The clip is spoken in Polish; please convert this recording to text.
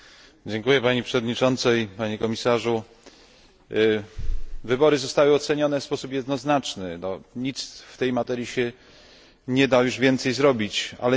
Wybory zostały ocenione w sposób jednoznaczny, nic w tej materii już się nie da już więcej zrobić, ale nie możemy zapomnieć, że Białoruś w dalszym jest ciągu naszym partnerem w ramach Partnerstwa Wschodniego.